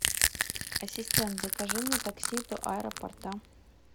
ассистент закажи мне такси до аэропорта